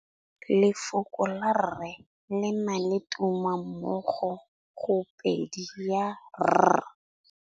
Lefoko la rre le na le tumammogôpedi ya, r.